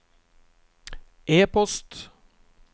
e-post